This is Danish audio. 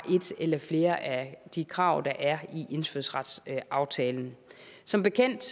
et eller flere af de krav der er i indfødsretsaftalen som bekendt